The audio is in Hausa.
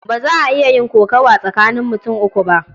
Ba za a iya yin kokawa tsakanin mutum uku ba.